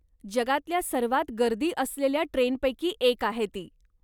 जगातल्या सर्वात गर्दी असलेल्या ट्रेनपैकी एक आहे ती.